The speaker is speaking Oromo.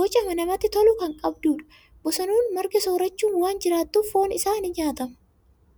boca namatti tolu kan qabudha! Bosonuun marga soorachuun waan jiraatuuf, foon isaa ni nyaatama.